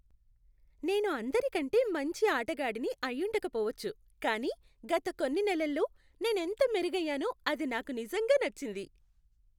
నేను అందరికంటే మంచి ఆటగాడిని అయ్యుండక పోవచ్చు కానీ గత కొన్ని నెలల్లో నేను ఎంత మెరుగయ్యానో అది నాకు నిజంగా నచ్చింది.